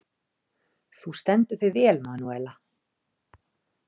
Þú stendur þig vel, Manúella!